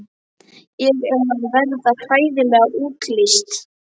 Ég er að verða hræðileg útlits.